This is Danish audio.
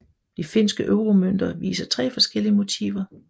De finske euromønter viser tre forskellige motiver